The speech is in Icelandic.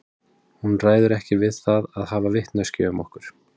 Hún ræður ekki við það að hafa vitneskju um okkur.